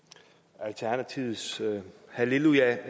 alternativets halleluja